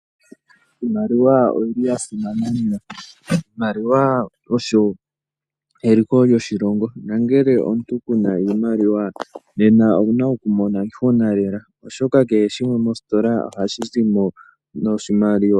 Iimaliwa oyili yasimana lela, iimaliwa osho eliko lyoshilongo nangele omuntu kena iimaliwa nena owuna okumona iihuna lela oshoka keshimwe mositola oha shizimo noshimaliwa.